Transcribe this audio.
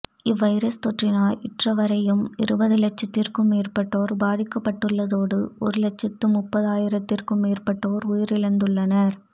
இவ்வைரஸ் தொற்றினால் இற்றை வரையும் இருபது இலட்சத்திற்கும் மேற்பட்டோர் பாதிக்கப்பட்டுள்ளதோடு ஒரு இலட்சத்து முப்பதாயிரத்துக்கும் மேற்பட்டோர் உயிரிழந்துள்ளனர்